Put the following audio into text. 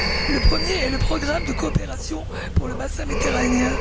Le premier est le programme de coopération pour le Bassin méditerranéen.